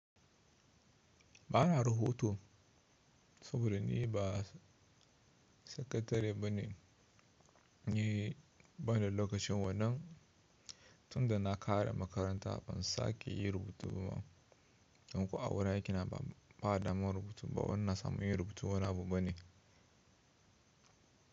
Ba na ruboto saboda ni ba sakatare ba ne, ni ban da lokacin wannan. Tun da na ƙare makaranta ban sake yin rubutu ba. Don ko a wurin aikina ba a daman rubutu ba. Wannan samun yi rubutu wani abu bane.